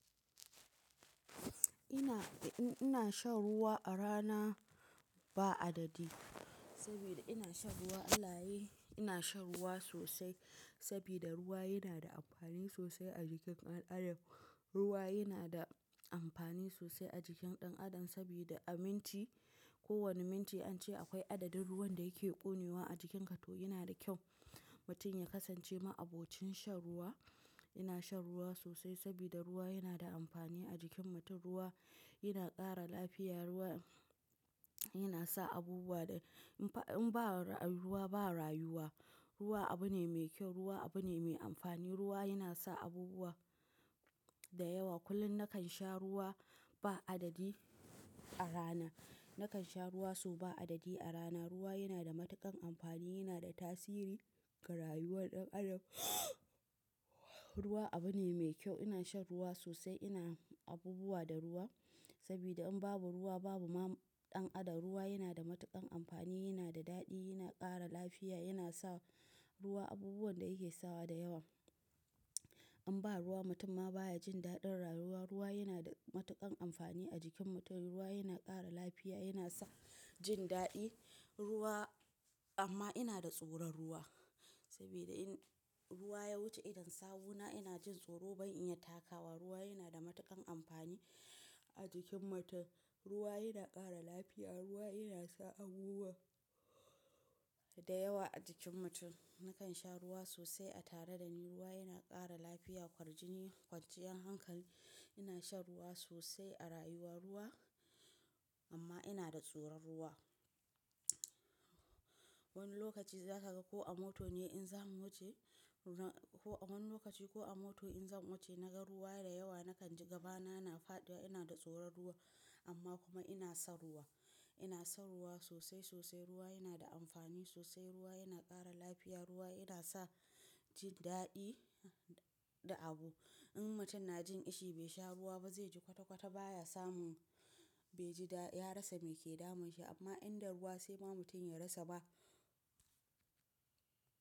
Ina shan ruwa a rana, ba adadi. Sabida ina shan ruwa alaye, ina shan ruwa sosai, sabida ruwa yana da amfani sosai a jikin ɗan adam. Ruwa yana da amfani sosai a jikin ɗan adam sabida a minti, ko wani minti an ce akwai adadin ruwan da yake ƙonewa a jikinka, toh yana da kyau mutum ya kasance ma'abocin shan ruwa. Ina shan ruwa sosai sabida ruwa yana da amfani a jikin mutum. Ruwa yana ƙara lafiya, ruwa yana sa abubuwa, da in ba ruwa ba rayuwa. Ruwa abu ne mai kyau, ruwa abu ne mai amfani. Ruwa yana sa abubuwa da yawa. Kullum nakan sha ruwa ba adadi, a rana. Nakan sha ruwa so ba adadi a rana. Ruwa yana da matuƙan amfani, yana da tasiri ga rayuwar ɗan adam. Ruwa abu ne mai kyau. Ina shan ruwa sosai, ina abubuwa da ruwa sabida in babu ruwa babu ma ɗan adam. Ruwa yana da matuƙan amfani, yana da daɗi, yana ƙara lafiya, yana sa ruwa abubuwan da yake sawa da yawa. In ba ruwa mutum ma baya jin daɗin rayuwa. Ruwa yana da matuƙan amfani a jikin mutum. Ruwa yana ƙara lafiya, yana sa jin daɗi, ruwa amma ina da tsoron ruwa, sabida in ruwa ya wuce idon sawuna ina jin tsoro ban iya takawa. Ruwa yana da matuƙan amfani a jikin mutum. Ruwa yana ƙara lafiya, ruwa yana sa abubuwa da yawa a jikin mutum. Nakan sha ruwa sosai a tare da ni. Ruwa yana ƙara lafiya, kwarjini, kwanciyar hankal. Ina shan ruwa sosai a rayuwa ruwa amma ina da tsoron ruwa. Wani lokaci za ta ga ko a mota ne in za mu wuce, ko a wani lokaci ko a mota in zan wuce na ga ruwa da yawa nakan ji gabana na faɗiwa, ina da tsoron ruwa amma kuma ina son ruwa. Ina son ruwa sosai sosai. Ruwa yana da amfani sosai. Ruwa yana ƙara lafiya. Ruwa yana sa jin daɗi da abu. In mutum na jin ishi bai sha ruwa ba zai ji kwata kwata baya samun, bai ji da, ya rasa mai ke damun shi amma inda ruwa sai ba mutum ya rasa ma.